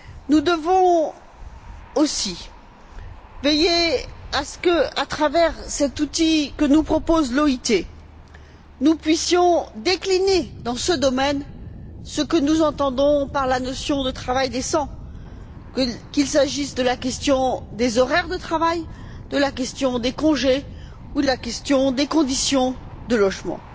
Nous devons aussi veiller à ce qu'à travers cet outil que nous propose l'OIT, nous puissions décliner dans ce domaine ce que nous entendons par la notion de travail décent, qu'il s'agisse de la question des horaires de travail, de la question des congés ou de la question des conditions de logement.